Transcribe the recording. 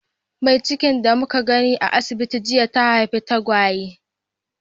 Mai cikin da muka gani a asibiti jiya, ta haifi tagwaye.